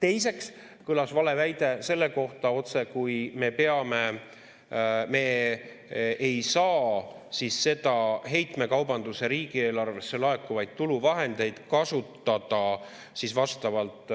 Teiseks kõlas valeväide selle kohta, otsekui me ei saaks siis heitmekaubanduse riigieelarvesse laekuva tulu vahendeid kasutada vastavalt